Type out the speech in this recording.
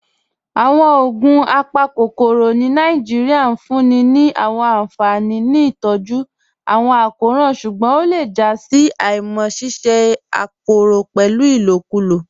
Awọn ogun apakokoro ni Nàìjíríà n fún ni ni awọn anfani ni itọju awọn akọran ṣugbọn o le jà sí àímá ṣíṣẹ̀ àpòrò pẹ́lu ilòkùlò.